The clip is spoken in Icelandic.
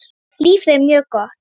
Lífið er mjög gott.